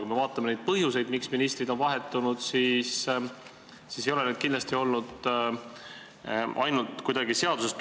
Kui me vaatame põhjuseid, miks ministrid on vahetunud, siis näeme, et need kindlasti ei ole tulenenud kuidagi seadusest.